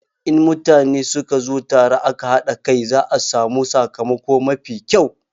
In mutane suka zo tare aƙa haɗa ƙai, za a samu sakamako mafi ƙyau.